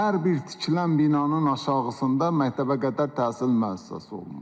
Hər bir tikilən binanın aşağısında məktəbə qədər təhsil müəssisəsi olmalıdır.